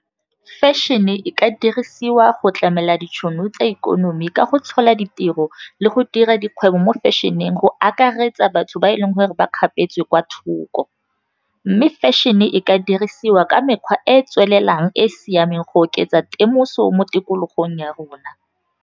Fashion-e e ka dirisiwa go tlamela ditšhono tsa ikonomi, ka go tshola ditiro le go dira dikgwebo mo fashion-eng go akaretsa batho ba e leng gore ba kgapetswe kwa thoko, mme fashion-e e ka dirisiwa ka mekgwa e e tswelelang, e e siameng go oketsa temoso mo tikologong ya rona.